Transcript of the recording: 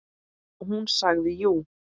Og hún sagði jú.